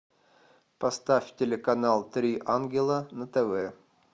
поставь телеканал три ангела на тв